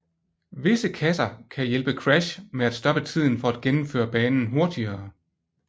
Visse kasser kan hjælpe Crash med at stoppe tiden for at gennemføre banen hurtigere